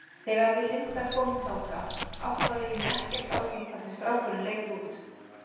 Þegar við Linda komum þangað áttaði ég mig ekkert á því hvernig strákurinn leit út.